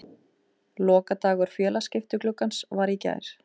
Lokadagur félagaskiptagluggans var í gær.